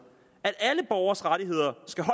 at alle borgeres rettigheder skal